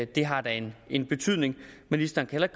det har da en betydning ministeren kan